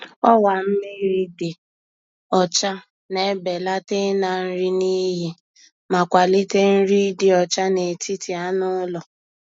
Ọwa mmiri dị ọcha na-ebelata ịna nri n’iyi ma kwalite nri ịdị ọcha n'etiti anụ ụlọ.